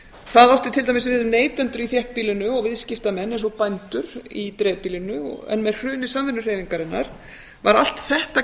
það átti til dæmis við um neytendur í þéttbýlinu og viðskiptamenn eins og bændur í dreifbýlinu með hruni samvinnuhreyfingarinnar var allt þetta